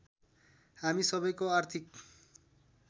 हामी सबैको आर्थिक